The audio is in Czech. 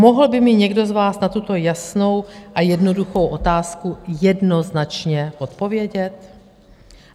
Mohl by mi někdo z vás na tuto jasnou a jednoduchou otázku jednoznačně odpovědět?